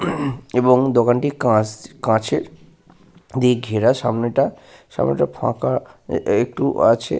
এবং দোকান টি কাঁচ কাঁচের দিয়ে ঘেরা সামনেটা। সামনেটা ফাঁকা একটু আছে।